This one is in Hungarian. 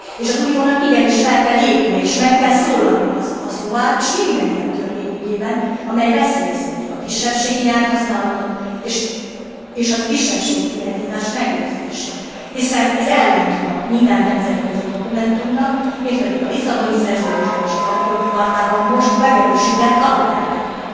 És az Uniónak igenis fel kell lépnie és meg kell szólalnia a szlovák és minden ilyen törvény ügyében, amely veszélyezteti a kisebbségi nyelvhasználatot és a kisebbségi identitás megőrzését, hiszen ez ellentmond minden nemzetközi dokumentumnak, mind pedig a Lisszaboni Szerződésben és az Alapjogi Chartában most megerősített alapelveknek.